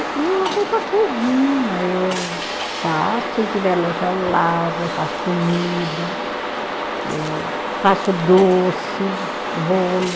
E eu vou para a cozinha, eu faço, se tiver louça eu lavo, eu faço comida, eu faço doce, bolo.